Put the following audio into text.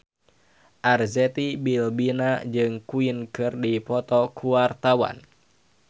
Arzetti Bilbina jeung Queen keur dipoto ku wartawan